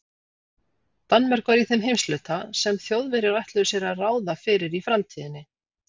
Danmörk var í þeim heimshluta, sem Þjóðverjar ætluðu sér að ráða fyrir í framtíðinni.